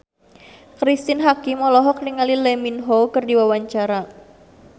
Cristine Hakim olohok ningali Lee Min Ho keur diwawancara